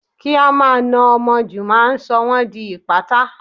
Kí á máa na ọmọ jù máa ń sọ wón di ìpátá.